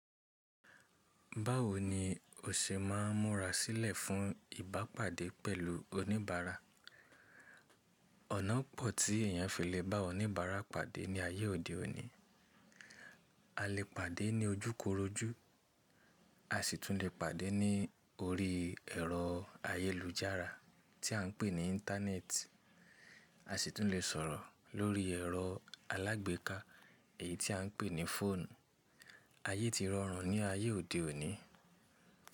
Báwo ni o ṣe máa ń múra sílẹ̀ fún ìbápàdé pẹ̀lú oníbàárà? Ọ̀nà pọ̀ tí èèyàn fi lè bá oníbàárà pàdé ní ayé òde òní. A lè pàdé ní ojúkorojú, a sì tún lè pàdé ní orí ẹ̀rọ ayélujára tí à ń pè ní Íńtánẹ́ẹ̀tì, a sì tún lè sọ̀rọ̀ lórí ẹ̀rọ alágbèéká èyí tí à ń pè ní fóònù. Ayé ti rọrùn ní ayé òde òní.